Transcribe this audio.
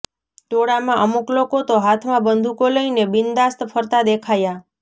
ટોળામાં અમુક લોકો તો હાથમાં બંદૂકો લઈને બિન્દાસ્ત ફરતા દેખાયા